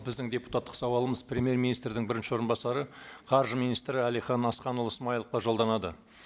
біздің депутаттық сауалымыз премьер министрдің бірінші орынбасары қаржы министрі әлихан асханұлы смайыловқа жолданады